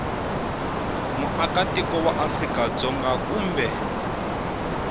muakatiko wa afrika dzonga kumbe